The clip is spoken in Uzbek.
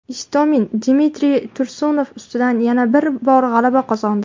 Istomin Dmitriy Tursunov ustidan yana bir bor g‘alaba qozondi.